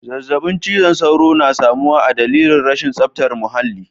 Zazzabin cizon sauro na samuwa adalili rashin zaftar muhalli.